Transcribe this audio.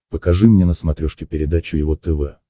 покажи мне на смотрешке передачу его тв